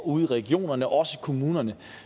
ude i regionerne og også i kommunerne